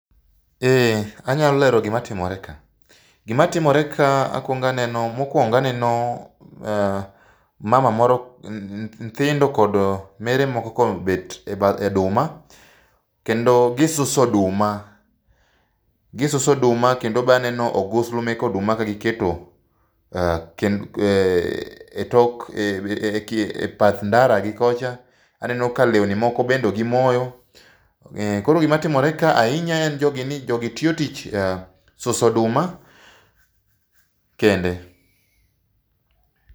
Ee anyalo lero gimatimore ka. Gima timore ka akuongo aneno mokuongo aneno mama moro nyithindo kod mere moko kobet ebath oduma. Kendo gisuso oduma, gisuso oduma kendo be aneno ogusu meke oduma ka giketo ee etok e bath ndara gi kocha, aneno ka lewni moko bende gimoyo. Koro gima timore kae ahinya en ni jogi tiyo tich suso oduma kende.